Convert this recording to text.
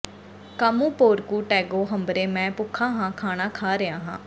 ਕਾਮੋ ਪੋਰਕੁ ਟੈਗੋ ਹੰਬਰੇ ਮੈਂ ਭੁੱਖਾ ਹਾਂ ਖਾਣਾ ਖਾ ਰਿਹਾ ਹਾਂ